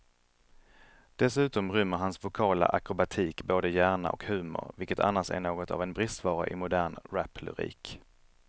Dessutom rymmer hans vokala akrobatik både hjärna och humor, vilket annars är något av en bristvara i modern raplyrik.